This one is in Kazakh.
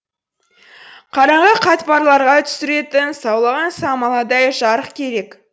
қараңғы қатпарларға түсіретін саулаған самаладай жарық керек